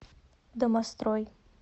домострой